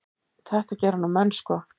Þetta gera nú menn sko.